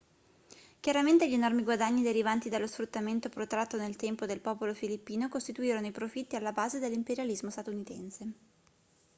chiaramente gli enormi guadagni derivanti dallo sfruttamento protratto nel tempo del popolo filippino costituirono i profitti alla base dell'imperialismo statunitense